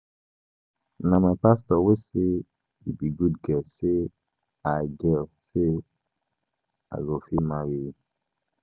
Na my pastor wey help wey help me pay my pikin school fees